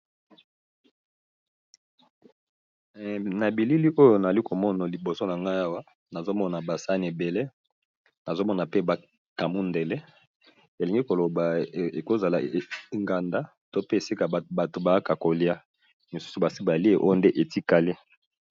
Na bilili oyo nali komono liboso na ngai awa nazomona basani ebele. Nazomona pe bakamundele elingi kolobaekozala inganda to pe esika bato baaka kolia misusu basi balie oyo nde etikale.